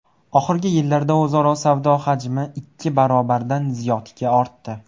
Oxirgi yillarda o‘zaro savdo hajmi ikki barobardan ziyodga ortdi.